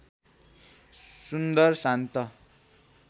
सुन्दर शान्त